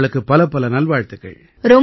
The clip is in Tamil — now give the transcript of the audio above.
உங்களுக்குப் பலப்பல நல்வாழ்த்துக்கள்